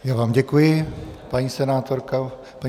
Já vám děkuji, paní senátorko.